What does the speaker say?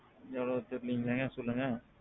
எவ்வளவு ஆச்சு நீங்களே சொல்லுங்க.